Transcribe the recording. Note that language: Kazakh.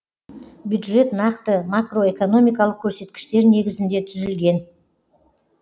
бюджет нақты макроэкономикалық көрсеткіштер негізінде түзілген